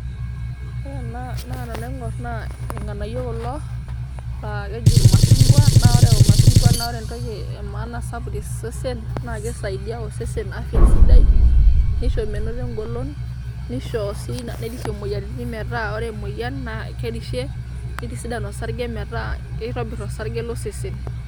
Ore naa tenaing'or naa irng'anayio kulo naa keji irmashung'wa, naa ore irmashung'wa naa ore entoki e maana sapuk to sesen naake isaidia osesen afya sidai, nisho menoto eng'olon, nisho sii nerishie imoyiaritin metaa ore emoyian naa kerishie, nitisidan osarge metaa kitobir osarge lo sesen.